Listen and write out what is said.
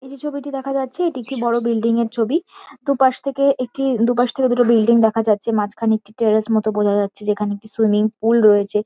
এই যে ছবিটি দেখা যাচ্ছে এটি একটি বড়ো বিল্ডিং -এর ছবি। দুপাশ থেকে একটি দুপাশ থেকে দুটো বিল্ডিং দেখা যাচ্ছে। মাঝখানে একটি টেরেস মতো বোঝা যাচ্ছে। যেখানে একটি সুইমিং পুল রয়েছে।